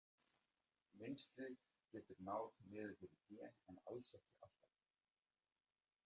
Mynstrið getur náð niður fyrir hné en alls ekki alltaf.